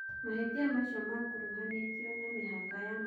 Mahitia macio makuruhanitio na mihaka ya matũra thiine iyo.